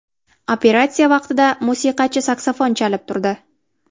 Operatsiya vaqtida musiqachi saksafon chalib turdi.